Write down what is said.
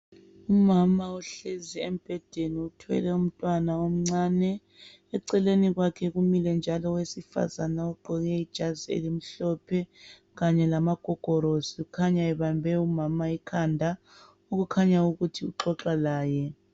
Umama uhlezi embhedeni uthwele umntwana omncane, eceleni kwakhe kumile njalo owesifazane ogqoke ijazi elimhlophe kanye lamagogorosi okhanya ebambe umama ikhanda okukhanya ukuthi uxoxa laye.